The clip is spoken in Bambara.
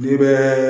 N'i bɛ